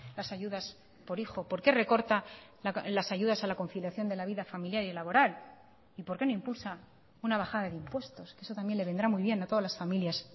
las ayudas por hijo por qué recorta las ayudas a la conciliación de la vida familiar y laboral y por qué no impulsa una bajada de impuestos que eso también le vendrá muy bien a todas las familias